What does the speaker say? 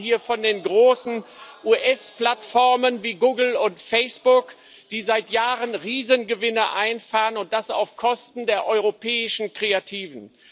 Wir reden hier von den großen US Plattformen wie Google und Facebook, die seit Jahren Riesengewinne einfahren, und das auf Kosten der europäischen Kreativen.